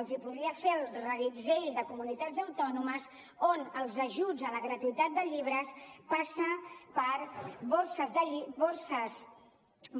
els podria fer el reguitzell de comunitats autònomes on els ajuts a la gratuïtat de llibres passen per